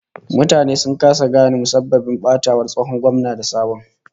Mutane sun kasa gane musabbabin batawar tsohon gwamna da sabon ba